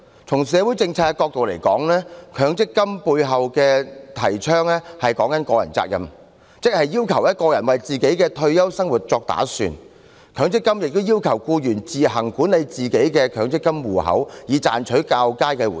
從社會政策角度而言，強積金背後提倡的是個人責任，即要求個人為自己的退休生活作打算，強積金亦要求僱員自行管理自己的強積金戶口，以賺取較佳回報。